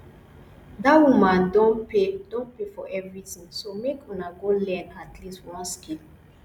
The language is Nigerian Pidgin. dat woman don pay don pay for everything so make una go learn at least one skill